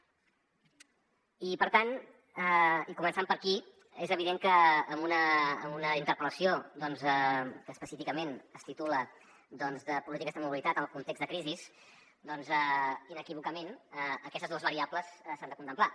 i per tant i començant per aquí és evident que amb una interpel·lació que específicament es titula doncs de polítiques de mobilitat en el context de crisi inequívocament aquestes dues variables s’han de contemplar